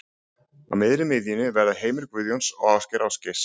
Á miðri miðjunni verða Heimir Guðjóns og Ásgeir Ásgeirs.